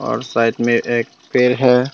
और साइड में एक पेड़ है।